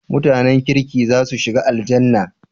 MutAnan kirki zasu shiga Aljannah?